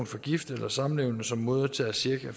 for gifte eller samlevende som modtager cirka